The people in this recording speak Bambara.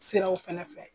Siraw fɛnɛ fɛ